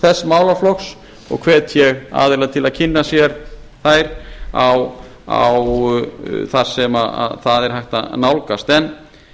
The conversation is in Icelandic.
þess málaflokks og hvet ég aðila til að kynna sér þær þar sem þær er hægt að nálgast en